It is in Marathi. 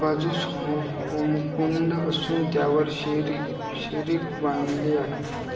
बाजुस होमकुंड आसून त्यावर शिखर बांधले आहे